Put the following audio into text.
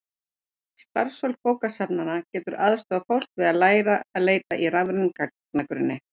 starfsfólk bókasafna getur aðstoðað fólk við að læra að leita í rafrænum gagnagrunnum